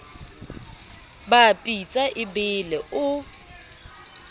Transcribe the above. ba pitsa e bele o